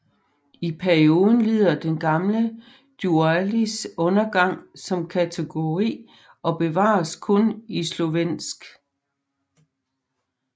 I perioden lider den gamle dualis undergang som kategori og bevares kun i slovensk